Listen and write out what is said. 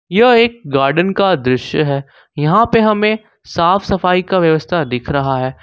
यह एक गार्डन का दृश्य है यहां पे हमें साफ सफाई का व्यवस्था दिख रहा है।